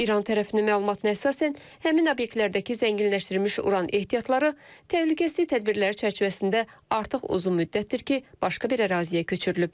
İran tərəfinin məlumatına əsasən, həmin obyektlərdəki zənginləşdirilmiş uran ehtiyatları təhlükəsizlik tədbirləri çərçivəsində artıq uzun müddətdir ki, başqa bir əraziyə köçürülüb.